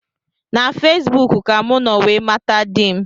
Na Fesbụụk ka mụ nọ wee mata di m